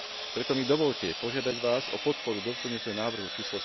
Preto mi dovoľte požiadať vás o podporu doplňujúceho návrhu č.